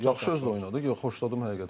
yaxşı oynadı, xoşladım həqiqətən də.